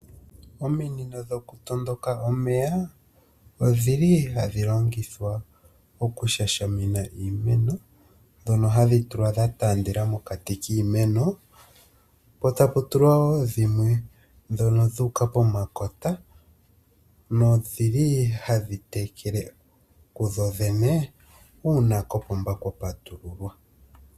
Ominino dhoku tondoka omeya odhili hadhi longithwa oku shashamina iimeno, dhono hadhi tulwa dha taandela mokati kiimeno, po tapu tulwa woo dhimwe dhono dhuuka pomakota nodhili hadhi tekele kudho dhene uuna kopomba kwa patululwa.